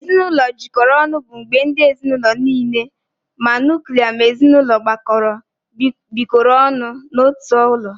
Ezinụlọ jikọrọ ọnụ bụ mgbe ndị ezinaụlọ niile ma nuklia na ezinụlọ gbakọrọ bikọrọ ọnụ n'otu ụlọ.